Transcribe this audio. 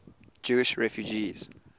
jewish refugees